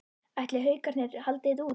Ætli Haukarnir haldi þetta út?